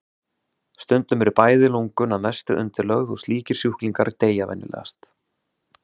Stundum eru bæði lungun að mestu undirlögð og slíkir sjúklingar deyja venjulegast.